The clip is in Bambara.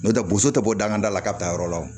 N'o tɛ boso tɛ bɔ dangada la ka taa yɔrɔ la